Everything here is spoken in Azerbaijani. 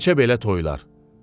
Neçə belə toyalar.